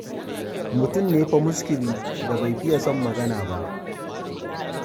Mutum ne fa muskili da bai fiye son magana ba.